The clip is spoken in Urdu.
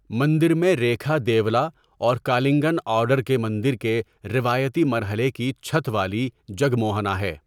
مندر میں ریکھا دیولا اور کالنگن آرڈر کے مندر کے روایتی مرحلے کی چھت والی جگموہنا ہے۔